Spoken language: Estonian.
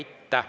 Aitäh!